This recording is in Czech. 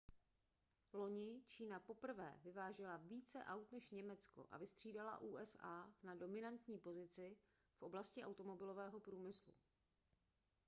loni čína poprvé vyvážela více aut než německo a vystřídala usa na dominantní pozici v oblasti automobilového průmyslu